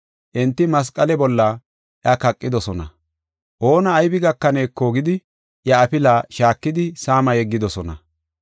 Enti masqale bolla iya kaqidosona. Oona aybi gakaneeko gidi iya afila shaakidi saama yeggidosona.